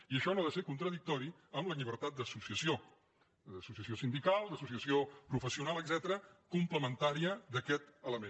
i això no ha de ser contradictori amb la llibertat d’associació d’associació sindical d’associació professional etcètera complementària d’aquest element